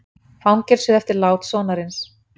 Fangelsuð eftir lát sonarins